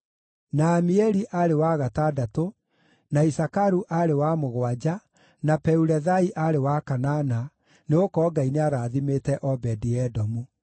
na Amieli aarĩ wa gatandatũ, na Isakaru aarĩ wa mũgwanja, na Peulethai aarĩ wa kanana, nĩgũkorwo Ngai nĩarathimĩte Obedi-Edomu.